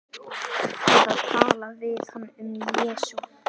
Eða tala við hann um Jesú.